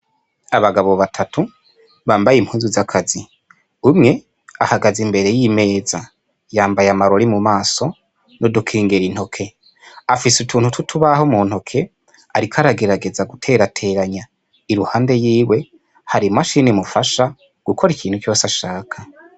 Abagabo batatu bahagaze impande y'imeza, umwe yambaye amarori mu maso n'udukingira intoke afise utuntu tw'utubaho mu ntoke ariko aragerageza guterateranya, iruhande yiwe hari i mashini imufasha gukora ikintu cose ashaka.